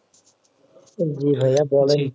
জি ভাইয়া, বলেন?